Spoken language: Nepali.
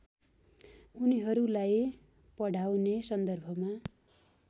उनीहरूलाई पढाउने सन्दर्भमा